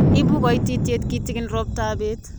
Ibu koititye kitegen roptap bet.